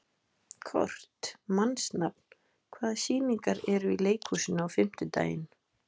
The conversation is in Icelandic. Kort (mannsnafn), hvaða sýningar eru í leikhúsinu á fimmtudaginn?